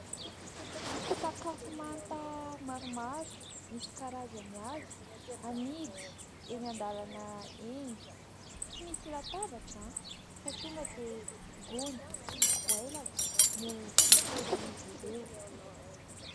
Sakafo manta maromaro misy karazany avy, amidy eny an-dalana eny. Tsy misy latabatra, fa tonga dia gony sy goelaka no itoeran'izy ireo.